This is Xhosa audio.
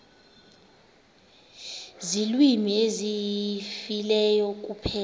ziilwimi ezifileyo kuphela